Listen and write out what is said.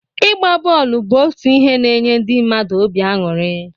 Ịgba bọọlụ bụ otu ihe n'nye ndi mmadụ obi aṅụrị.